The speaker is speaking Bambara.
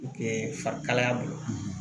Kɛ fari kalaya bolo